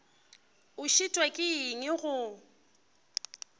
o šitwa ke eng go